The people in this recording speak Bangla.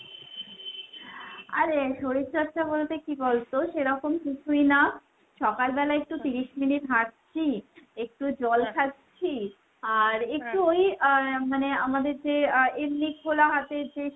আরে শরীরচর্চা বলতে কি বলতো সেরকম কিছুই না। সকালবেলা একটু তিরিশ মিনিট হাঁটছি, একটু খাচ্ছি, আর ওই আহ মানে আমাদের যে আ এমনি খোলা হাতের যে